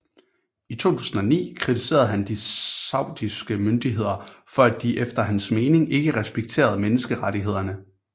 I 2009 kritiserede han de saudiske myndigheder for at de efter hans mening ikke respekterede menneskerettighederne